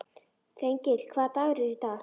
Þengill, hvaða dagur er í dag?